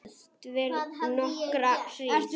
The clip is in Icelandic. Dvel nokkra hríð.